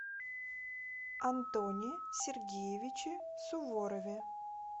антоне сергеевиче суворове